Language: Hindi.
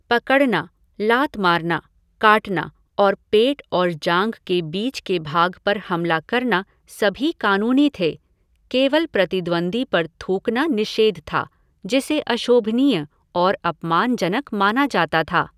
पकड़ना, लात मारना, काटना और पेट और जांघ के बीच के भाग पर हमला करना सभी कानूनी थे, केवल प्रतिद्वंद्वी पर थूकना निषेध था जिसे अशोभनीय और अपमानजनक माना जाता था।